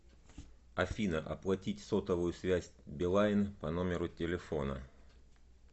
афина оплатить сотовую связь билайн по номеру телефона